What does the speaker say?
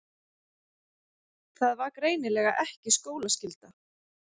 Það var greinilega ekki skólaskylda.